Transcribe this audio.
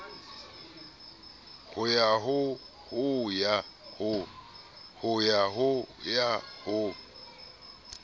ho ya ho ya ho